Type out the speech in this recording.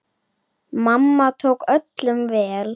Mamma tók öllum vel.